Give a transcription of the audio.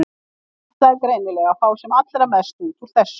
Hann ætlaði greinilega að fá sem allra mest út úr þessu.